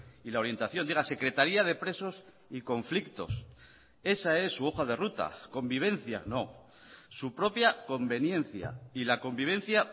y la orientación diga secretaría de presos y conflictos esa es su hoja de ruta convivencia no su propia conveniencia y la convivencia